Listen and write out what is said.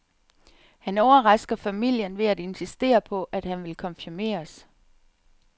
Han overrasker familien ved at insistere på, at han vil konfirmeres.